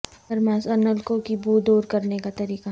thermos اور نلکوں کی بو دور کرنے کا طریقہ